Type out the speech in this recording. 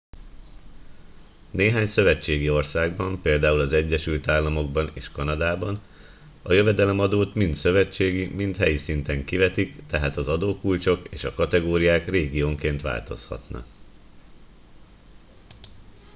néhány szövetségi országban például az egyesült államokban és kanadában a jövedelemadót mind szövetségi mind helyi szinten kivetik tehát az adókulcsok és a kategóriák régiónként változhatnak